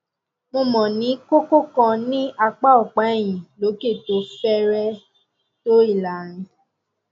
mo mo ní kókó kan ní apá ọpá ẹyìn lókè tó fẹrẹẹ tó ìlàrin